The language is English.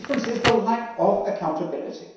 The difference is the lack of accountability.